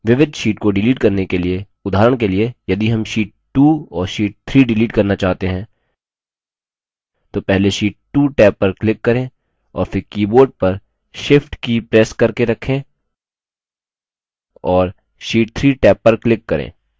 विविध sheets को shift करने के लिए उदाहरण के लिए यदि हम sheet 2 और sheet 3 shift करना चाहते हैं तो पहले sheet 2 टैब पर click करें और फिर keyboard पर shift की प्रेस करके रखें और sheet 3 टैब पर click करें